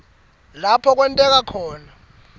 lapho kwenteke khona